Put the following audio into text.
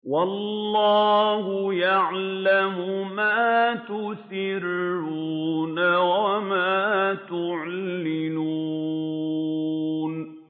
وَاللَّهُ يَعْلَمُ مَا تُسِرُّونَ وَمَا تُعْلِنُونَ